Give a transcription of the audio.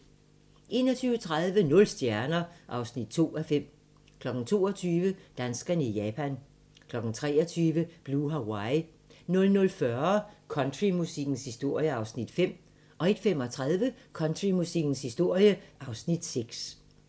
21:30: Nul stjerner (2:5) 22:00: Danskerne i Japan 23:00: Blue Hawaii 00:40: Countrymusikkens historie (Afs. 5) 01:35: Countrymusikkens historie (Afs. 6)